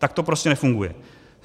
Tak to prostě nefunguje.